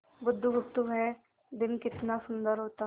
बुधगुप्त वह दिन कितना सुंदर होता